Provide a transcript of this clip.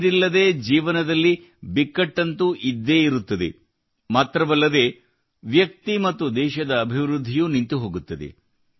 ನೀರಿಲ್ಲದೇ ಜೀವನದಲ್ಲಿ ಬಿಕ್ಕಟ್ಟಂತೂ ಇದ್ದೇ ಇರುತ್ತದೆ ಮಾತ್ರವಲ್ಲದೇ ವ್ಯಕ್ತಿ ಮತ್ತು ದೇಶದ ಅಭಿವೃದ್ಧಿಯೂ ನಿಂತು ಹೋಗುತ್ತದೆ